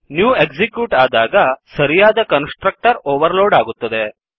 new execute ಆದಾಗ ಸರಿಯಾದ constructor overload ಆಗುತ್ತದೆ